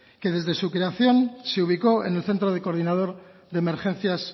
que desde su creación se ubicó en el centro de coordinador de emergencias